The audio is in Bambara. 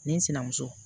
Ni n sinamuso